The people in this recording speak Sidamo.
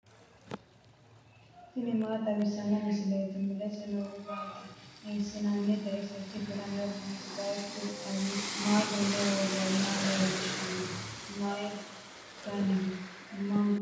tini maa xawissanno misileeti ? mulese noori maati ? hiissinannite ise ? tini kultannori mattiya? Bayiichchu kawiichchi mamaatti? maa duunne woroonnihu leelanno? Mayi daniho? Manu mama heeranno?